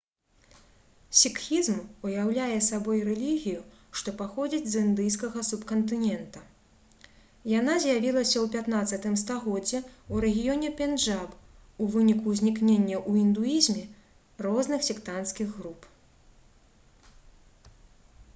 сікхізм уяўляе сабой рэлігію што паходзіць з індыйскага субкантынента яна з'явілася ў 15 стагоддзі ў рэгіёне пенджаб у выніку ўзнікнення ў індуізме розных сектанцкіх груп